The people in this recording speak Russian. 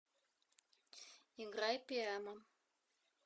играй пиэма